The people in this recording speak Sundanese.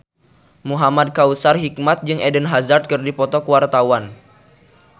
Muhamad Kautsar Hikmat jeung Eden Hazard keur dipoto ku wartawan